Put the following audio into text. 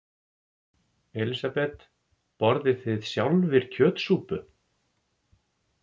Elísabet: Borðið þið sjálfir kjötsúpu?